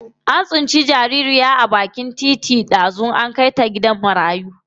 An tsinci jaririya a bakin titi an kai ta gidan marayu dazu.